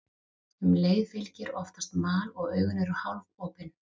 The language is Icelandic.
Um leið fylgir oftast mal og augun eru hálfopin.